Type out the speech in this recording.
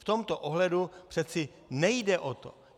V tomto ohledu přece nejde o to.